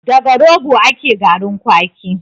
Daga rogo ake garin kwaki